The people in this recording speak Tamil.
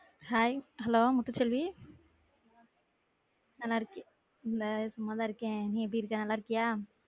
Hai hello முத்துச்செல்வி நல்லா இருக்கே இல்ல சும்மா தான் இருக்கேன் நீ எப்படி இருக்க நல்லா இருக்கியா?